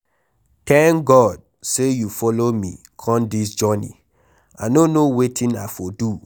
Thank God say you follow me come dis journey, I no know wetin I for do.